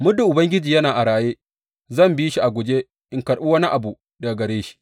Muddin Ubangiji yana a raye, zan bi shi a guje in karɓi wani abu daga gare shi.